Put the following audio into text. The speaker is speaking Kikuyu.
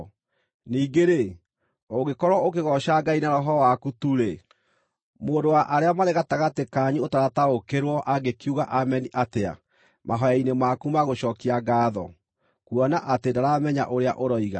Ningĩ-rĩ, ũngĩkorwo ũkĩgooca Ngai na roho waku tu-rĩ, mũndũ wa arĩa marĩ gatagatĩ kanyu ũtarataũkĩrwo, angĩkiuga “Ameni” atĩa mahooya-inĩ maku ma gũcookia ngaatho, kuona atĩ ndaramenya ũrĩa ũroiga?